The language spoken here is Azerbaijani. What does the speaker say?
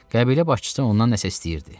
Qəbilə başçısı ondan nəsə istəyirdi.